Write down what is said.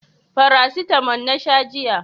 Farasitamo na sha jiya